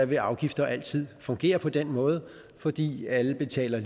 vil afgifter altid fungere på den måde fordi alle betaler